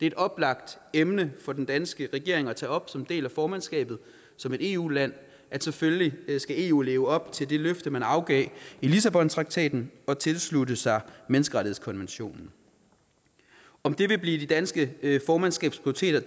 et oplagt emne for den danske regering at tage op som en del af formandskabet som et eu land at selvfølgelig skal eu leve op til det løfte man afgav i lissabontraktaten og tilslutte sig menneskerettighedskonventionen om det vil blive det danske formandskabs prioriteter